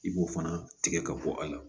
I b'o fana tigɛ ka bɔ a la